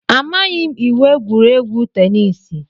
Amaghị m iwu egwuregwu teniisi.